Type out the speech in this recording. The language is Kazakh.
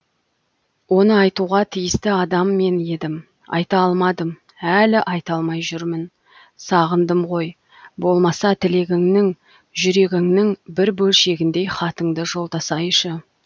оны айтуға тиісті адам мен едім айта алмадым әлі айта алмай жүрмін сағындым ғой болмаса тілегіңнің жүрегіңнің бір бөлшегіндей хатыңды жолдасайшы